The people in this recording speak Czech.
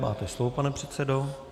Máte slovo, pane předsedo.